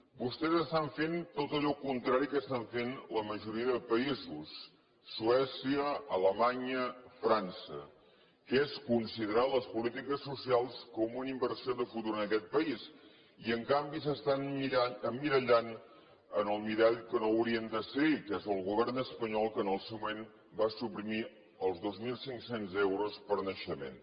vostès estan fent tot allò contrari del que estan fent la majoria de països suècia alemanya frança que és conside rar les polítiques socials com una inversió de futur en aquest país i en canvi s’estan emmirallant en el mirall que no hauria de ser que és el govern espanyol que en el seu moment va suprimir els dos mil cinc cents euros per naixement